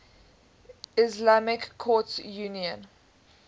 islamic courts union